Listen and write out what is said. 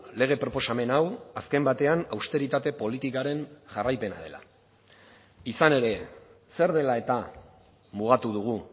lege proposamen hau azken batean austeritate politikaren jarraipena dela izan ere zer dela eta mugatu dugu